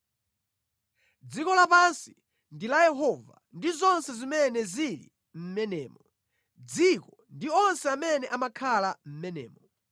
Dziko lapansi ndi la Yehova ndi zonse zimene zili mʼmenemo, dziko ndi onse amene amakhala mʼmenemo;